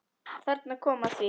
Þarna kom að því.